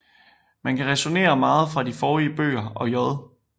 Man kan ræsonere meget fra de forrige bøger og J